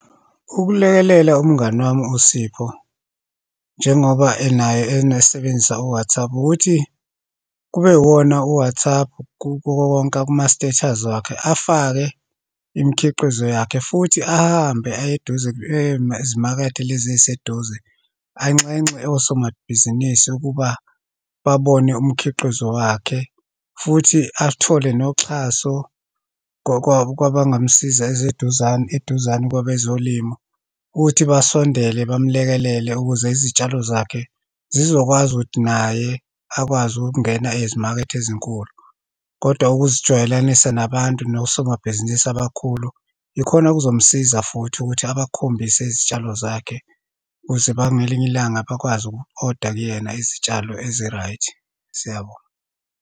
Ukulekelela umngani wami uSipho njengoba enayo, enesebenzisa u-WhatsApp. Ukuthi kube iwona u-WhatsApp kuwowonke kuma-status wakhe, afake imikhiqizo yakhe, futhi ahambe aye eduze, ema ezimakethe lezi eyiseduze, anxenxe osomabhizinisi ukuba babone umkhiqizo wakhe. Futhi athole noxhaso kwabangamsiza, eze eduzane, eduzane kwabezolimo ukuthi basondele, bamlekelele ukuze izitshalo zakhe zizokwazi ukuthi naye akwazi ukungena ezimakethe ezinkulu. Kodwa ukuzijwayelanisa nabantu, nosomabhizinisi abakhulu, ikhona okuzomsiza futhi ukuthi abakhombise izitshalo zakhe, ukuze ngelinye ilanga bakwazi uku-oda kuyena izitshalo ezi-right. Siyabonga.